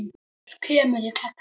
Ólafur kemur í gegn.